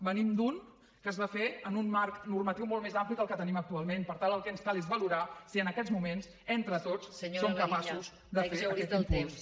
venim d’un que es va fer en un marc normatiu molt més ampli que el que tenim actualment per tant el que ens cal és valorar si en aquests moments entre tots som capaços de fer aquest impuls